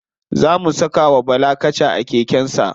Za mu saka wa bala kasha a keken sa.